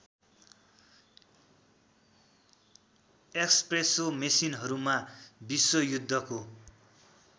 espresso मेसिनहरूमा विश्वयुद्धको